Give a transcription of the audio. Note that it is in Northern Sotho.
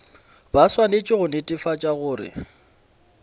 ba swanetše go netefatša gore